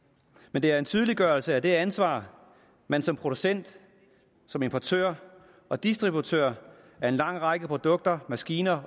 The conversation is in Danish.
men det er en tydeliggørelse af det ansvar man som producent importør og distributør af en lang række produkter maskiner